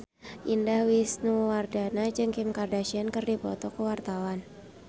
Indah Wisnuwardana jeung Kim Kardashian keur dipoto ku wartawan